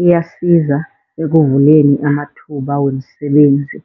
iyasiza ekuvuleni amathuba wemisebenzi.